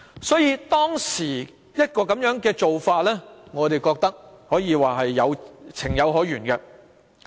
所以，當時的做法我們覺得是情有可原。